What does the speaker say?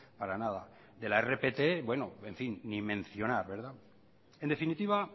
para nada de la rpt bueno en fin ni mencionar en definitiva